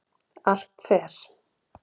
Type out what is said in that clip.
Allt fer